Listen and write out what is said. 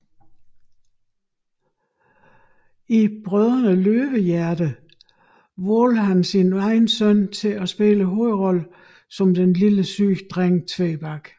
I Brødrene Løvehjerte valgte han sin egen søn til at spille hovedrollen som den lille syge dreng Tvebak